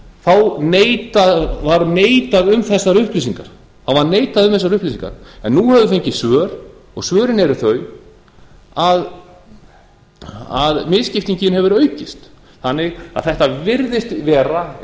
þá var neitað um þessar upplýsingar en nú höfum við fengið svör og svörin eru þau að misskiptingin hefur aukist þannig að þetta virðist vera